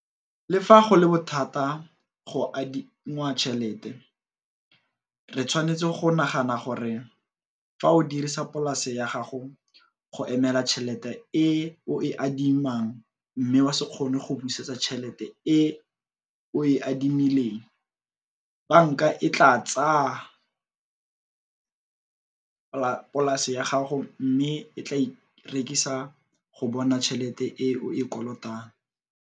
Le fa go le bothata fa go adingwa tšhelete, re tshwanetse go nagana gore fa o dirisa polase ya gago go emela tšhelete e o e adimang mme wa se kgone go busetsa tšhelete e o e adimileng, banka e tlaa tsaya polase ya gago mme e tlaa e rekisa go bona tšhelete e o e kolotang.